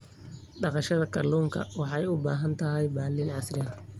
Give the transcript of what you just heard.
Dhaqashada kalluunka waxay u baahan tahay balli casri ah.